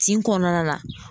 Tin kɔnɔna la.